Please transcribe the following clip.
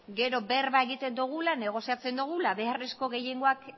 gero berba egiten dugula negoziatzen dugula beharrezko gehiengoak